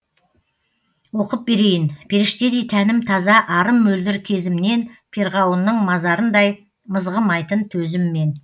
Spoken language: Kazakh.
оқып берейін періштедей тәнім таза арым мөлдір кезімнен перғауының мазарындай мызғымайтын төзіммен